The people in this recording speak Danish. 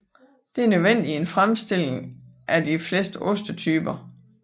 Det er nødvendigt til fremstilling af de fleste ostetyper